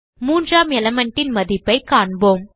மூன்றாம் element ன் மதிப்பைக் காண்போம்